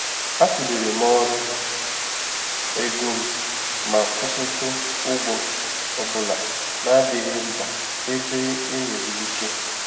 A tụlere m ọrụ ego m ma kwụsịtụ ụgwọ ọ bụla na-adịghị mkpa ebe enwere ike.